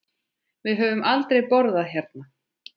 Við höfum aldrei borðað hérna.